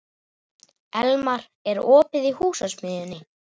Elmar, er opið í Húsasmiðjunni?